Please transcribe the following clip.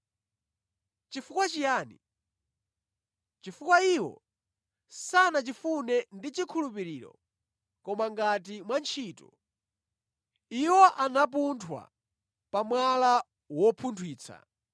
Chifukwa chiyani? Chifukwa iwo sanachifune ndi chikhulupiriro koma ngati mwa ntchito. Iwo anapunthwa pa “Mwala wopunthwitsa.”